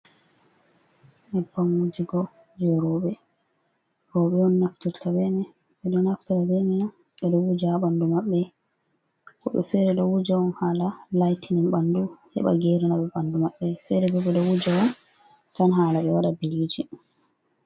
Nyebbam wujugo je ruɓe, roɓe'on naftirta be mai .ɓe ɗon naftira be mai'on ɓe Wuja ha ɓandu mabɓe, wobɓe fere ɗon wuja'on hala laitinin ɓandu heɓa gerinaɓe ɓandu mabɓe. Fere bo ɓe ɗo wuja'on won tan hala be waɗa bilicin.